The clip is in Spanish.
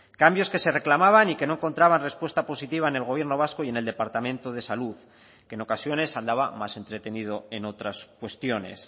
cambios que se reclamaban y que no encontraban respuesta positiva en el gobierno vasco y en el departamento de salud que en ocasiones andaba más entretenido en otras cuestiones